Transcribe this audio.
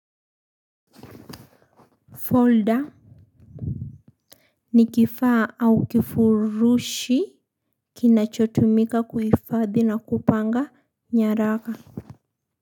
Folder, ni kifaa, au kifurushi kinachotumika kuifadhi na kupanga, nyaraka.